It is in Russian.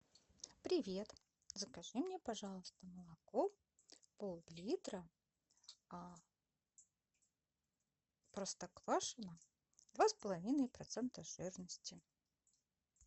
привет закажи мне пожалуйста молоко пол литра простоквашино два с половиной процента жирности